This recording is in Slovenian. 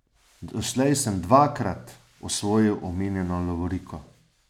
Doslej sem dvakrat osvojil omenjeno lovoriko.